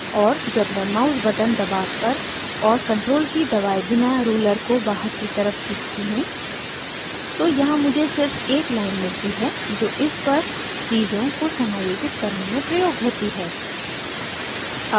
और जब मैं mouse button दबाकर और ctrl की दबाये बिना ruler को बाहर की तरफ खींचती हूँ तो यहाँ मुझे सिर्फ एक line मिलती है जो इस पर चीज़ों को समायोजित करने में प्रयोग होती है